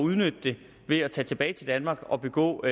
udnytte det ved at tage tilbage til danmark og begå